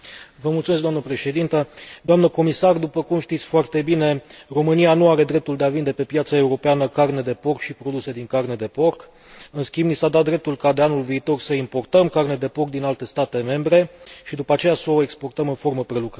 Doamnă Președintă, doamnă comisar, după cum știți foarte bine, România nu are dreptul de a vinde pe piața europeană carne de porc și produse din carne de porc, în schimb ni s a dat dreptul ca de anul viitor să importăm carne de porc din alte state membre și, după aceea, să o exportăm în formă prelucrată.